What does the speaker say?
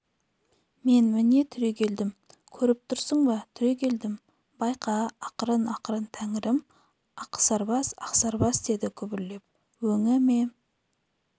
мен міне түрегелдім көріп тұрсың ба түрегелдім байқа ақырын-ақырын тәңірім ақсарбас ақсарбас деді күбірлеп өңі ме